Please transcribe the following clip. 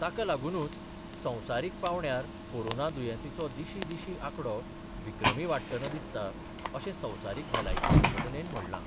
ताकालागूनूच संवसारीक पांवड्यार कोरोना दुयेंतींचो दिशीं दिशीं आकडो विक्रमी वाढटना दिसता, अशें संवसारीक भलायकी संघटनेन म्हणलां.